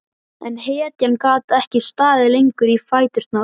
En hetjan gat ekki staðið lengur í fæturna.